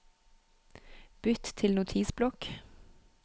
Bytt til Notisblokk